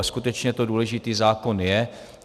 A skutečně to důležitý zákon je.